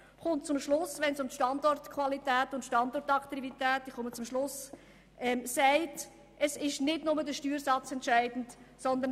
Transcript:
Sie kommt zum Schluss, dass, wenn es um die Standortqualität und die Standortattraktivität geht, nicht nur der Steuersatz entscheidend ist.